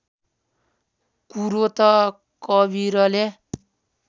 कुरो त कवीरले